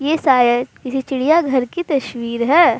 ये शायद किसी चिड़िया घर की तस्वीर है।